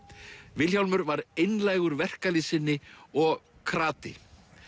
Vilhjálmur var einlægur verkalýðssinni og krati